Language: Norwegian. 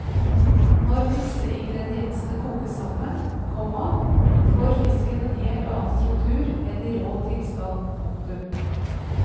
Når disse ingrediensene kokes sammen, komma får fisken en helt annen struktur enn i rå tilstand. punktum